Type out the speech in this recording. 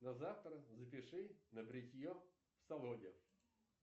на завтра запиши на бритье в салоне